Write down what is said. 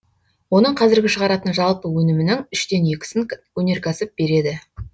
оның қазіргі шығаратын жалпы өнімінің үштен екісін өнеркәсіп береді